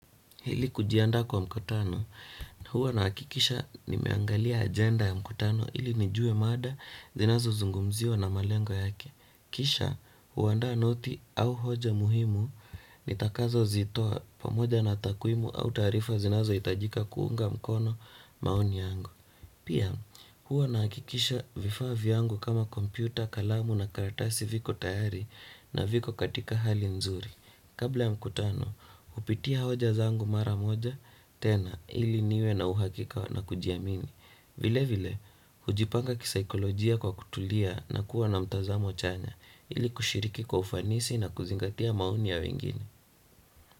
Ili kujiandaa kwa mkutano, huwa nahakikisha nimeangalia ajenda ya mkutano ili nijue mada zinazozungumziwa na malengo yake. Kisha, huandaa noti au hoja muhimu nitakazozitoa pamoja na takwimu au taarifa zinazohitajika kuunga mkono maoni yangu. Pia, huwa nahakikisha vifaa vyangu kama kompyuta, kalamu na karatasi viko tayari na viko katika hali nzuri. Kabla ya mkutano, hupitia hoja zangu mara moja, tena ili niwe na uhakika na kujiamini. Vile vile, hujipanga kisaikolojia kwa kutulia na kuwa na mtazamo chanya ili kushiriki kwa ufanisi na kuzingatia maoni ya wengine.